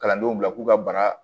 Kalandenw bila k'u ka baara